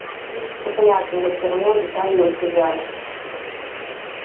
принцип-то понятен но всё равно детали ускользают